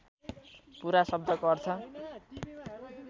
पुरा शब्दको अर्थ